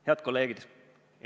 Head kolleegid!